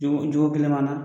Jogo kelen b'an na